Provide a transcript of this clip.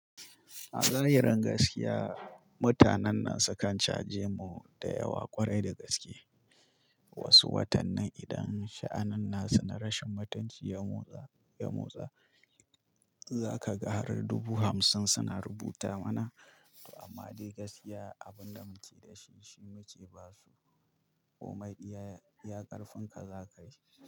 Azahirin gaskiya, mutanen nan sukan caje mu da yawa kwarai da gaske. Wasu watannin idan sha'annin nasu na rashin mutunci ya motsa, za ka ga har dubu hamsin suna rubuta mana. Amma dai gaskiya abin da muke da shi shi muke basu. Kuma komi iya ƙarfin ka za ka yi.